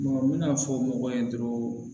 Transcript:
n bɛna fɔ mɔgɔw ye dɔrɔn